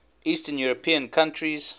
eastern european countries